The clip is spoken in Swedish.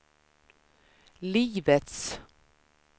livets